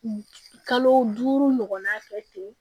Kalo duuru ɲɔgɔnna kɛ ten